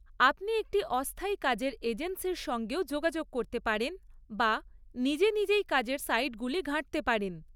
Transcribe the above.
আপনি একটি অস্থায়ী কাজের এজেন্সির সঙ্গেও যোগাযোগ করতে পারেন বা নিজে নিজেই কাজের সাইটগুলি ঘাঁটতে পারেন৷